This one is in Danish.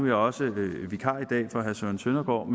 jeg også vikar i dag for herre søren søndergaard